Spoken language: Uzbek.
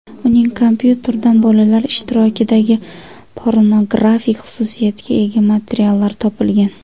Uning kompyuteridan bolalar ishtirokidagi pornografik xususiyatga ega materiallar topilgan.